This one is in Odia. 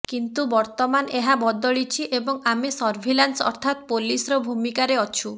କିନ୍ତୁ ବର୍ତ୍ତମାନ ଏହା ବଦଳିଛି ଏବଂ ଆମେ ସର୍ଭିଲାନ୍ସ ଅର୍ଥାତ୍ ପୋଲିସର ଭୂମିକାରେ ଅଛୁ